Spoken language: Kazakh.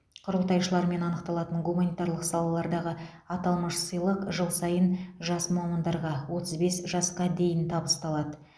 құрылтайшылармен анықталатын гуманитарлық салалардағы аталмыш сыйлық жыл сайын жас мамандарға отыз бес жасқа дейін табысталады